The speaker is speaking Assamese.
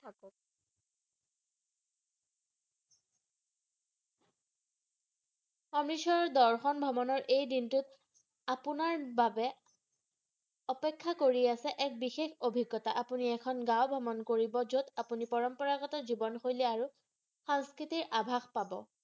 অমৃতসৰৰ দৰ্শন ভ্ৰমণৰ এই দিনটোত আপোনাৰ বাবে অপেক্ষ্য়া কৰি আছে এক বিশেষ অভিজ্ঞতা আপুনি এখন গাওঁ ভ্ৰমণ কৰিব যত আপুনি পৰম্পৰাগত জীৱন শৈলি আৰু সাংস্কৃিতিৰ আভাস পাব